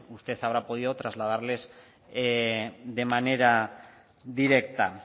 usted habrá podido trasladarles de manera directa